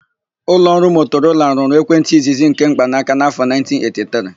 Ụlọọrụ Motorola rụrụ ekwentị izizi nke mkpanaka n'afọ 1983.